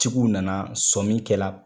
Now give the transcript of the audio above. Tigiw nana sɔmin kɛla